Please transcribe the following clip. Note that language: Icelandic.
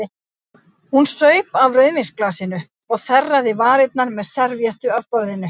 Hún saup af rauðvínsglasinu og þerraði varirnar með servíettu af borðinu.